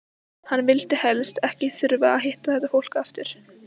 Hann vildi helst ekki þurfa að hitta þetta fólk aftur!